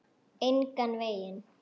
Engan veginn